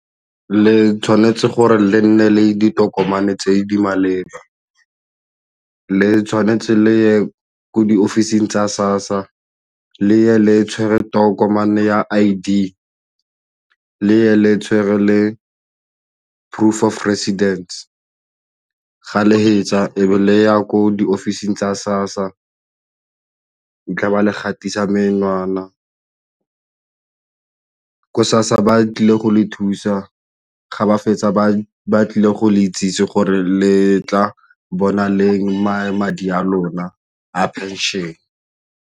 Le tshwanetse gore le nne le ditokomane tse di maleba, le tshwanetse le ye ko diofising tsa SASSA le tshwere tokomane ya I_D le tshwere le proof of residence ga le fetsa e be le ya ko diofising tsa SASSA a tla ba le gatisa menwana. Ko SASSA ba tlile go le thusa ga ba fetsa ba tlile go le itsesi gore le tla bona leng madi a lona a phenšene.